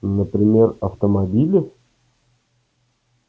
например автомобили